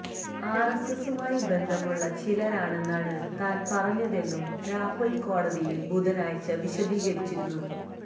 ആര് എസ് എസുമായി ബന്ധമുള്ള ചിലരാണെന്നാണ് താന് പറഞ്ഞതെന്നും രാഹുല് കോടതിയില് ബുധനാഴ്ച വിശദീകരിച്ചിരുന്നു